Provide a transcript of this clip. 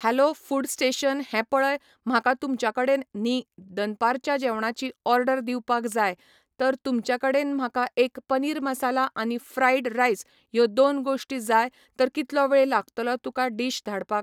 hello food station हें पळय म्हाका तुमच्या कडेन न्ही दनपारच्या जेवणाची ऑडर दिवपाक जाय तर तुमच्या कडेन म्हाका एक पनीर मसाला आनी फ्रायड रायस ह्यो दोन गोश्टी जाय तर कितलो वेळ लागतलो तुका डिश धाडपाक